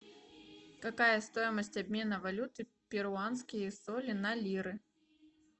какая стоимость обмена валюты перуанские соли на лиры